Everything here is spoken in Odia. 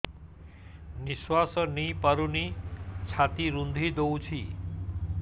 ନିଶ୍ୱାସ ନେଇପାରୁନି ଛାତି ରୁନ୍ଧି ଦଉଛି